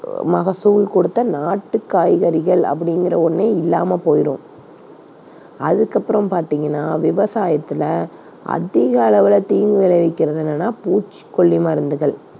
மகசூல் கொடுத்த நாட்டு காய்கறிகள் அப்படிங்கிற ஒண்ணே இல்லாம போயிடும். அதுக்கப்புறம் பார்த்தீங்கன்னா விவசாயத்தில அதிக அளவுல தீங்கு விளைவிக்கிறது என்னன்னா பூச்சிக்கொல்லி மருந்துகள்.